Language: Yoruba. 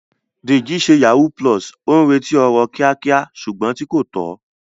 Deji ṣe yahoo +, ó ń retí ọrọ̀ kíákíá ṣùgbọ́n tí kò tọ́.